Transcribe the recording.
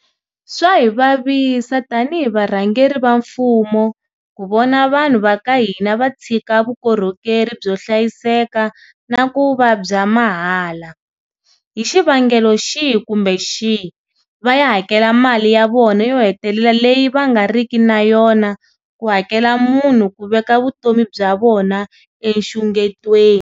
Swa hi vavisa tanihi varhangeri va mfumo ku vona vanhu va ka hina va tshika vukorhokeri byo hlayiseka na ku va bya mahala, hi xivangelo xihi kumbe xihi, va ya hakela mali ya vona yo hetelela leyi va nga riki na yona ku hakela munhu ku veka vutomi bya vona enxungetweni.